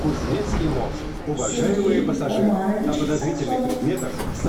сергей омарович саксонов